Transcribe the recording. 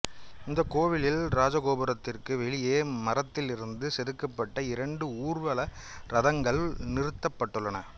இந்த கோவிலில் இராஜகோபுரத்திற்கு வெளியே மரத்திலிருந்து செதுக்கப்பட்ட இரண்டு ஊர்வல ரதங்கள் நிறுத்தப்பட்டுள்ளன